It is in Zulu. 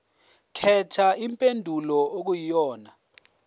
khetha impendulo okuyiyona